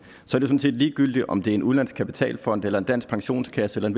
sådan set ligegyldigt om det er en udenlandsk kapitalfond eller en dansk pensionskasse eller en